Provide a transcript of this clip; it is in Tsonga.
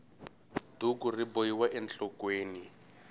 duku ri bohiwa enhlokweni